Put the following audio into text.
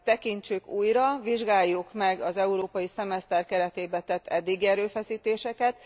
Tekintsük újra, vizsgáljuk meg az európai szemeszter keretében tett eddigi erőfeszítéseket.